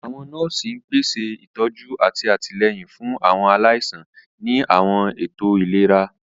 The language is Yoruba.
Àwọn nọ́ọ̀sì ń pèsè ìtọ́jú àti àtìlẹ́yìn fún àwọn aláìsàn ní àwọn ètò ìlera.